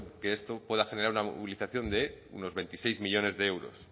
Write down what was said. que esto pueda generar una movilización de unos veintiséis millónes de euros